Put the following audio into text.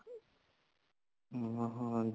ਹਾਂ ਹੀਂ